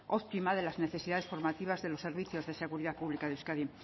óptima de las necesidades formativas de los servicios de seguridad pública de euskadi